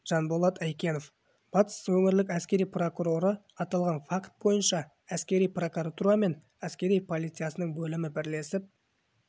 жанболат әйкенов батыс өңірлік әскери прокуроры аталған факт бойынша әскери прокуратура мен әкери полициясының бөлімі бірлесіп